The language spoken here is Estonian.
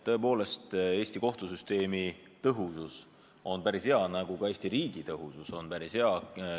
Tõepoolest, Eesti kohtusüsteem on päris tõhus, nagu ka Eesti riik on päris tõhus.